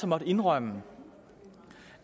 måttet indrømme